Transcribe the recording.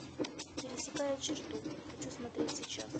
пересекая черту хочу смотреть сейчас